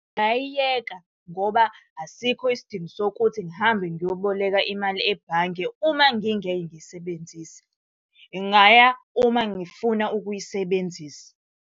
Ngingayiyeka ngoba asikho isidingo sokuthi ngihambe ngiyoboleka imali ebhange uma ngingeke ngiyisebenzise. Ngingaya uma ngifuna ukuyisebenzisa.